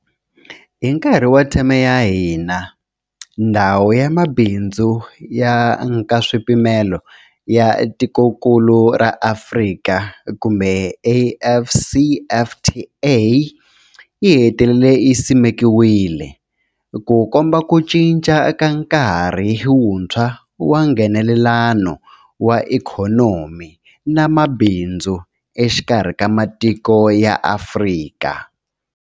Hi nkarhi wa theme ya hina, Ndhawu ya Mabindzu ya Nkaswipimelo ya Tikokulu ra Afrika AfCFTA yi hetelele yi simekiwile, Ku komba ku cinca ka nkarhi wuntshwa wa Nghenelelano wa ikhonomi na mabindzu exikarhi ka matiko ya Afrika.